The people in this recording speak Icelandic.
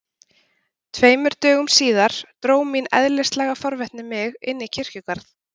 Tveimur dögum síðar dró mín eðlislæga forvitni mig inn í kirkjugarð.